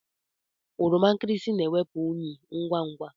Oroma nkịrịsị na-ewepụ unyị ngwa ngwa.